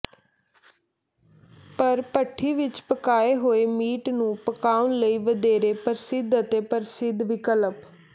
ਪਰ ਭੱਠੀ ਵਿੱਚ ਪਕਾਏ ਹੋਏ ਮੀਟ ਨੂੰ ਪਕਾਉਣ ਲਈ ਵਧੇਰੇ ਪ੍ਰਸਿੱਧ ਅਤੇ ਪ੍ਰਸਿੱਧ ਵਿਕਲਪ